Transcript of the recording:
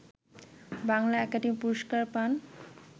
Bangla academy পুরস্কার পান